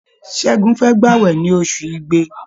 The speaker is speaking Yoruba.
Ṣẹ́gun fẹ́ gbàwẹ̀ ní ọṣù Igbe.